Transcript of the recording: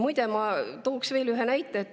Muide, ma toon veel ühe näite.